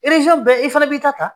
bɛɛ i fana b'i ta